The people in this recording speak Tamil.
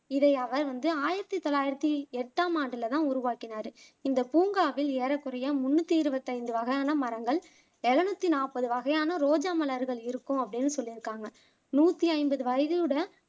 இதை அவர் வந்து ஆயிரத்தி தொள்ளாயிரத்தி எட்டாமாண்டுல தான் உருவாக்கினாரு இந்த பூங்காவில் ஏறக்குறைய முன்னூத்தி இருபத்தைந்து வகையான மரங்கள் எழுநூத்தி நாப்பது வகையான ரோஜா மலர்கள் இருக்கும் அப்படின்னு சொல்லிருக்காங்க நூத்தி ஐம்பது வயதுடைய